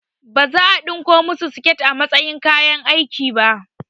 Baza a ɗinko masu siket a matsayin kayan aiki ba